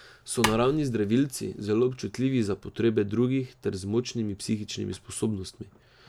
So naravni zdravilci, zelo občutljivi za potrebe drugih ter z močnimi psihičnimi sposobnostmi.